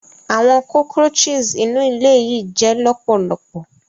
Awọn cockroaches inu ile yii jẹ lọpọlọpọ.